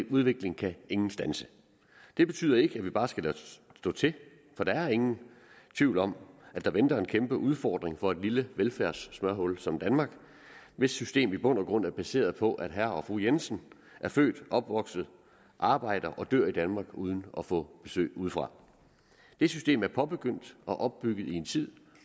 udvikling kan ingen standse det betyder ikke at vi bare skal lade stå til for der er ingen tvivl om at der venter en kæmpeudfordring for et lille velfærdssmørhul som danmark hvis system i bund og grund er baseret på at herre og fru jensen er født og opvokset arbejder og dør i danmark uden at få besøg udefra det system er påbegyndt og opbygget i en tid